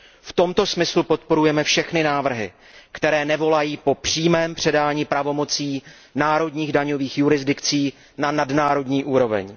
V tomto smyslu podporujeme všechny návrhy, které nevolají po přímém předání pravomocí národních daňových jurisdikcí na nadnárodní úroveň.